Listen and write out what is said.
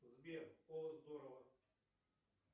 сбер о здорово